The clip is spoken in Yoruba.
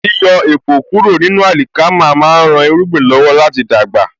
Yíyọ èpò kúrò ní àlìkámà má ń rán irúgbìn lọ́wọ́ láti dàgbà